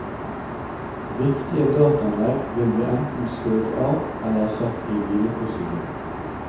Viktige dataanlegg vil bli enten skrudd av eller satt i hvileposisjon.